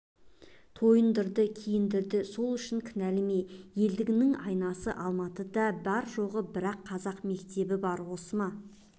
тойындырды киіндірді сол үшін кінәлі ме елдігіңнің айнасы алматыда бар-жоғы бір-ақ қазақ мектебі бар осы ма